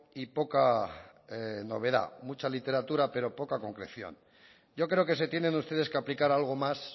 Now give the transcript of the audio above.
y poca novedad mucha literatura pero poca concreción yo creo que se tienen ustedes que aplicar algo más